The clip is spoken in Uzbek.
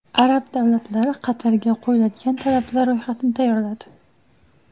Arab davlatlari Qatarga qo‘yiladigan talablar ro‘yxatini tayyorladi.